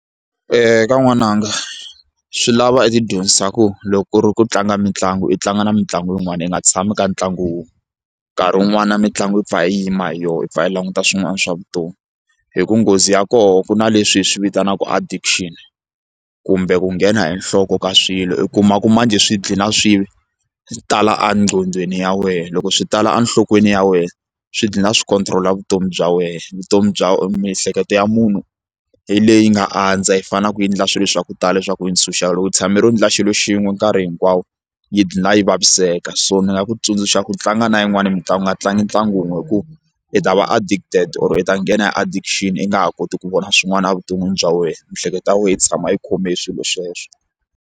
E ka nwananga swi lava i ti dyondzisa ku loko u ri ku tlanga mitlangu i tlanga na mitlangu yin'wana i nga tshami ka ntlangu wun'we nkarhi wun'wani na mitlangu yi pfa i yima hi yona i pfa i languta swin'wana swa vutomi hi ku nghozi ya koho ku na leswi hi swi vitanaka addition kumbe ku nghena hi nhloko ka swilo u kuma ku manjhe swi gcina swi tala enqhondhweni ya wena loko swi tala enhlokweni ya wena swi dlina swi control-a vutomi bya wena vutomi bya miehleketo ya munhu hi leyi nga andza yi fanaku ku endla swilo swa ku tala swa ku va ni loko yi tshame ro endla xilo xin'we nkarhi hinkwawo yi dlina yi vaviseka so ni nga ku tsundzuxa ku tlanga na yin'wani mitlangu nga tlangi ntlangu wun'we hi ku i ta va addicted or i ta nghena hi addition i nga ha koti ku vona swin'wana evuton'wini bya wena miehleketo ya wena yi tshama yi khomile swilo sweswo.